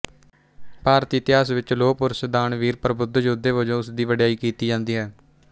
ਭਾਰਤੀ ਇਤਿਹਾਸ ਵਿੱਚ ਲੋਹਪੁਰਸ਼ ਦਾਨਵੀਰ ਪ੍ਰਬੁੱਧ ਯੋਧੇ ਵਜੋਂ ਉਸਦੀ ਵਡਿਆਈ ਕੀਤੀ ਜਾਂਦੀ ਹੈ